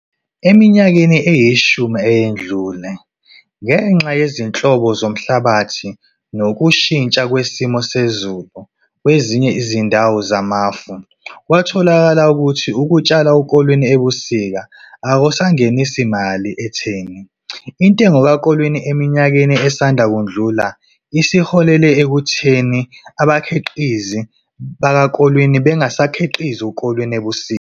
Eminyakeni eyishumi eyedlule, ngenxa yezinhlobo zomhlabathi nokushintsha kwesimo sezulu kwezinye izindawo zamafamu, kwatholakala ukuthi ukutshala ukolweni ebusika akusangenisi mali etheni. Intengo kakolweni eminyakeni esanda kudlula isiholele ekutheni abakhiqizi bakakolweni bangasakhiqizi ukolweni ebusika.